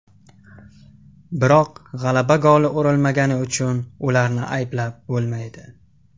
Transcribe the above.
Biroq g‘alaba goli urilmagani uchun ularni ayblab bo‘lmaydi.